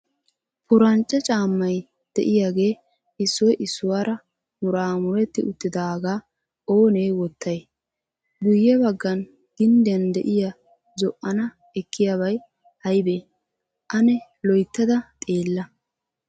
Purancce caammay de'iyaage issoy issuwaara mura muretti uttiidaaga oone wottay? Guyye baggan gindiyan de'iyaa zo'ana ekkiyabay aybbe? An loyttada xeella.